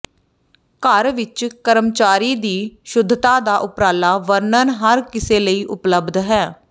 ਘਰ ਵਿਚ ਕਰਮਚਾਰੀ ਦੀ ਸ਼ੁੱਧਤਾ ਦਾ ਉੱਪਰਲਾ ਵਰਣਨ ਹਰ ਕਿਸੇ ਲਈ ਉਪਲਬਧ ਹੈ